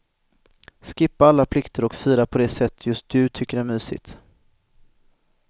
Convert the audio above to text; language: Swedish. Skippa alla plikter och fira på det sätt just du tycker är mysigt.